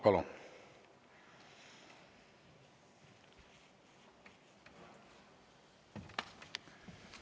Palun!